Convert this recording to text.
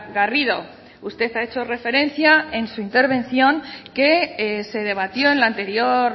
garrido usted ha hecho referencia en su intervención que se debatió en la anterior